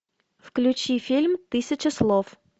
включи фильм тысяча слов